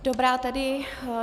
Dobrá tedy.